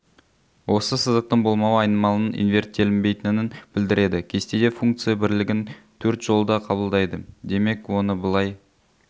осы сызықтың болмауы айнымалының инверттелінбейтінін білдіреді кестеде функция бірлігін төрт жолда қабылдайды демек оны былай